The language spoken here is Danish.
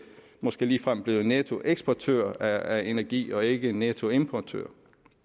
måske ligefrem blevet nettoeksportør af energi og ikke nettoimportør